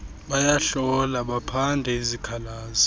bayahlola baphande izikhalazo